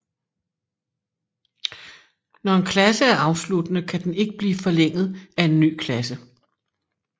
Når en klasse er afsluttende kan den ikke blive forlænget af en ny klasse